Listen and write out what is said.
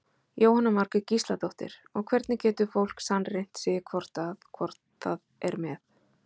Jóhanna Margrét Gísladóttir: Og hvernig getur fólk sannreynt sig hvort að, hvort það er með?